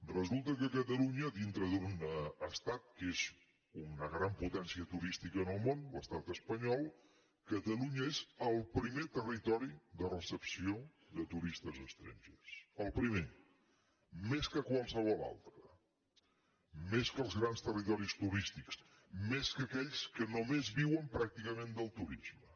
resulta que catalunya dintre d’un estat que és una gran potencia turística en el món l’estat espanyol catalunya és el primer territori de recepció de turistes estrangers el primer més que qualsevol altre més que els grans territoris turístics més que aquells que només viuen pràcticament del turisme